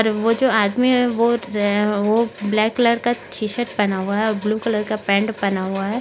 और वो जो आदमी है वो रे वो ब्लैक कलर का टी शर्ट पहना हुआ है और ब्लू कलर का पैंट पहना हुआ है।